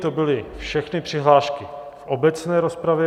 To byly všechny přihlášky v obecné rozpravě.